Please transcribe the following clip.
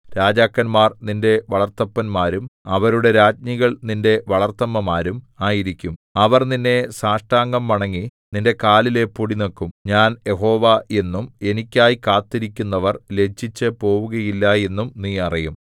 രാജാക്കന്മാർ നിന്റെ വളർത്തപ്പന്മാരും അവരുടെ രാജ്ഞികൾ നിന്റെ വളർത്തമ്മമാരും ആയിരിക്കും അവർ നിന്നെ സാഷ്ടാംഗം വണങ്ങി നിന്റെ കാലിലെ പൊടിനക്കും ഞാൻ യഹോവ എന്നും എനിക്കായി കാത്തിരിക്കുന്നവർ ലജ്ജിച്ചു പോകുകയില്ല എന്നും നീ അറിയും